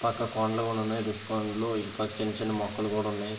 పక్కన కొండలు కూడ ఉన్నాయి కొండలు ఇటుపక్క చిన్న చిన్న మొక్కలు కూడ ఉన్నాయి.